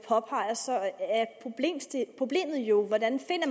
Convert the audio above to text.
påpeger er problemet jo hvordan